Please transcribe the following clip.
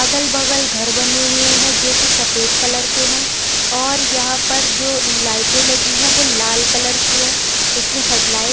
अगल भगल घर बने हुए हैं जोकि सफ़ेद कलर के हैं और यहाँ पे जो लाइटें लगी हुई हैं वो लाल कलर की है इसमें हेडलाइट --